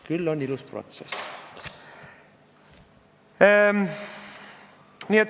Küll on ilus protsess!